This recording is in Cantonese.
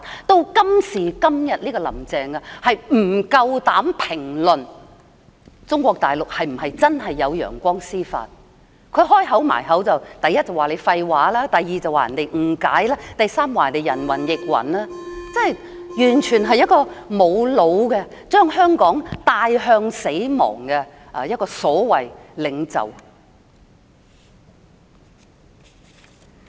直至今時今日，"林鄭"仍不敢評論中國大陸是否真的有"陽光司法"，她一開口便說人講廢話，說人誤解，說人人云亦云，完全是沒有腦的、將香港帶向死亡的所謂領袖。